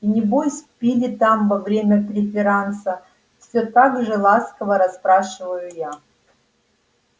и небось пили там во время преферанса всё так же ласково расспрашиваю я